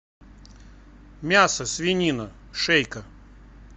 мясо свинина шейка